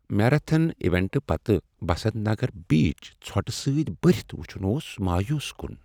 Marathon ایونٛٹہٕ پتہٕ بسنٛت نگر بیٖچ ژھۄٹہٕ سۭتۍ بٔرتھ وُچُھن اوس مایوٗس کن۔